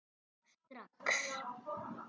Strax